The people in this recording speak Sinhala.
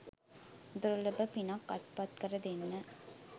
දුර්ලභ පිනක් අත්පත් කර දෙන්න